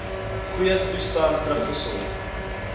goeie toestand terugbesorg